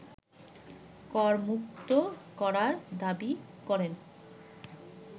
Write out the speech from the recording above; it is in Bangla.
করমুক্ত করার দাবি করেন